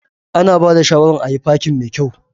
Ana ba da shawaran ayi fakin mai kyau.